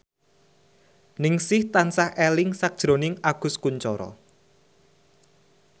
Ningsih tansah eling sakjroning Agus Kuncoro